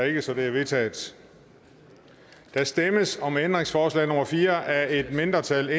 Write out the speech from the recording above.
ikke så det er vedtaget der stemmes om ændringsforslag nummer fire af et mindretal